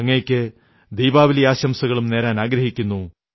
അങ്ങയ്ക്ക് ദീപാവലി ആശംസകളും നേരുന്നു